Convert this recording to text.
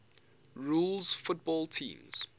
rules football teams